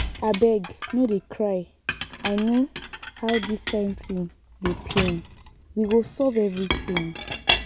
abeg no dey cry i know how dis kyn thing dey pain we go solve everything